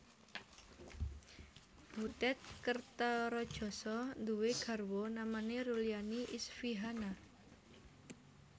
Butet Kertaradjasa duwé garwa namane Rulyani Isfihana